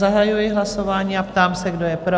Zahajuji hlasování a ptám se, kdo je pro?